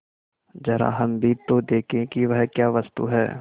जरा हम भी तो देखें कि वह क्या वस्तु है